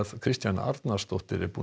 Kristjana Arnarsdóttir